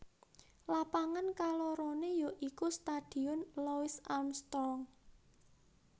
Lapangan kaloroné ya iku Stadion Louis Armstrong